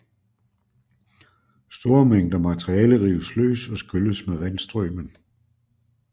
Store mængder materiale rives løs og skylles med vandstrømen